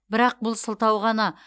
бірақ бұл сылтау ғана